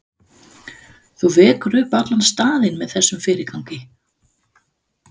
Þú vekur upp allan staðinn með þessum fyrirgangi.